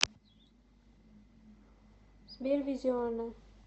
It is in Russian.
сбер визионер